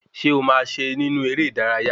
Ṣé ọ máa se nínú eré ìdárayá?